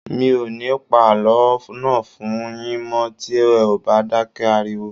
Mi ò ní pa àlọ́ náà fún n yín mọ́ tí ẹ ò bá dákẹ́ ariwo